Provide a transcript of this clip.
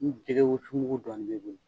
Ni jɛgɛ wusu mugu dɔɔnin b'i bolo